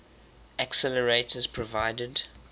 accelerators provide